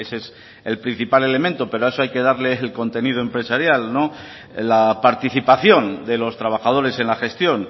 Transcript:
ese es el principal elemento pero a eso hay que darle el contenido empresarial la participación de los trabajadores en la gestión